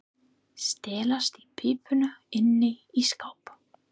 Stelast í pípuna inni í skáp.